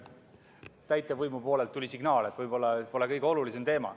Täitevvõimu poolelt tuli signaal, et võib-olla see pole kõige olulisem teema.